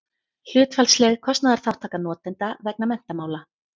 hlutfallsleg kostnaðarþátttaka notenda vegna menntamála